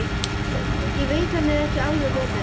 Ég veit hann er ekki þess verður.